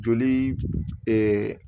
Joli